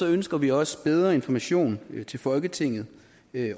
ønsker vi også bedre information til folketinget